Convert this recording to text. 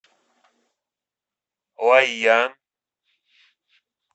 лайян